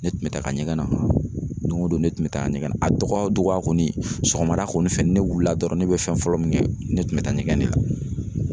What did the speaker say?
Ne tun bɛ taa ɲɛgɛn na, doŋo don ne tun bɛ taa ɲɛgɛn na. A dɔgɔya o dɔgɔya kɔni sɔgɔmada kɔni fɛ ni ne wulila dɔrɔn ne bɛ fɛn fɔlɔ min kɛ ne tun bɛ taa ɲɛgɛn ne la.